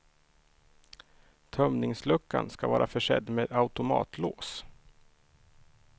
Tömningsluckan ska vara försedd med automatlås.